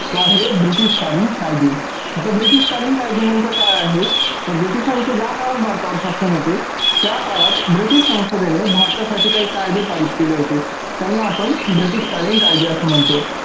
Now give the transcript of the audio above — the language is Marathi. तो आहे ब्रिटीश कालीन कायदे. आता ब्रिटीश कालीन कायदे नेमक काय आहे तर ब्रिटीशांचे ज्या काळात भारतावर शासन होते त्या काळात ब्रिटीश संसदेने भारतासाठी काही कायदे पारित केले होते त्यांना आपण ब्रिटीश कालीन कायदे अस म्हणतो.